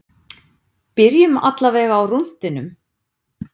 Byrjum allavega á rúntinum.